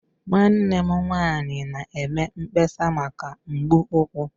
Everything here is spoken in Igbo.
Nwanne m nwanyị na-eme mkpesa maka mgbu ụkwụ.